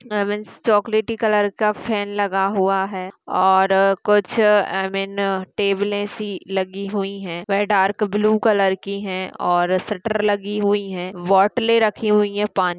आई means चॉकलेटी colour का fan लग हुआ है और कुछ आई मीन टेबलें सी लगी हुई है वह डार्क ब्लू कलर की है और शटर लगी हुई है बॉटलें रखी हुई है पा--